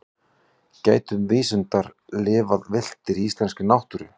gætu vísundar lifað villtir í íslenskri náttúru